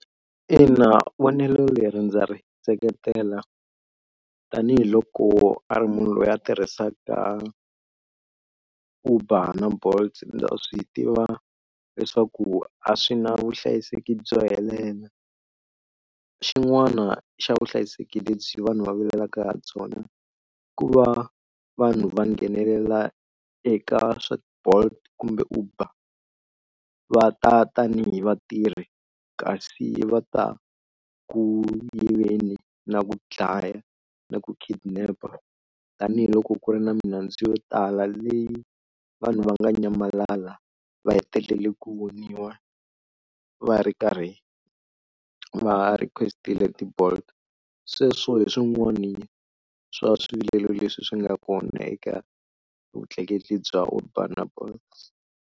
Ina vonelo leri ndza ri seketela tanihiloko a ri munhu loyi a tirhisaka Uber na Bolt ndza swi tiva leswaku a swi na vuhlayiseki byo helela, xin'wana xa vuhlayiseki lebyi vanhu va vulelaka ha byona ku va vanhu va nghenelela eka swa Bolt kumbe Uber va ta tanihi vatirhi kasi va ta ku yiveni na ku dlaya na ku kidnap tanihiloko ku ri na milandzu yo tala leyi vanhu va nga nyamalala va hetelele ku voniwa va ri karhi va request-ile ti-Bolt sweswo hi swin'wana swa swivilelo leswi swi nga kona eka vutleketli bya Uber na Bolt.